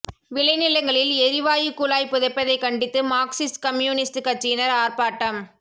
விளைநிலங்களில் எரிவாயு குழாய் புதைப்பதை கண்டித்து மார்க்சிஸ்ட் கம்யூனிஸ்ட் கட்சியினர் ஆர்ப்பாட்டம்